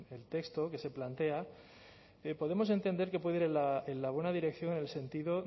en el texto que se plantea podemos entender que puede ir en la buena dirección en el sentido